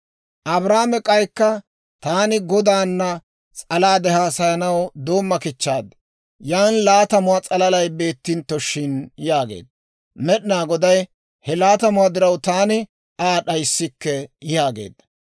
Abrahaame k'aykka, «Taani Godaana s'alaade haasayanaw doomma kichchaad; yan laatamuwaa s'alalay beettintto shin?» yaageedda. Med'inaa Goday, «He laatamatuwaa diraw taani Aa d'ayssikke» yaageedda.